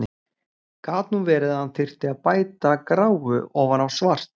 Gat nú verið að hann þyrfti að bæta gráu ofan á svart!